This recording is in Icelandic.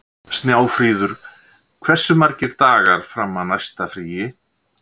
Snjáfríður, hversu margir dagar fram að næsta fríi?